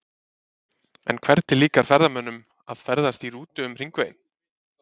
En hvernig líkar ferðamönnum að ferðast í rútu um hringveginn?